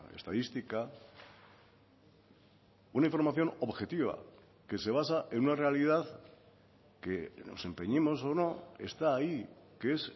estadística una información objetiva que se basa en una realidad que nos empeñemos o no está ahí que es